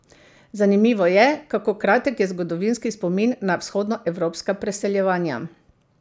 Zanimivo je, kako kratek je zgodovinski spomin na vzhodnoevropska preseljevanja.